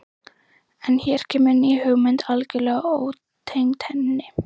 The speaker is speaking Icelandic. En hér kemur ný hugmynd, algjörlega ótengd hinni.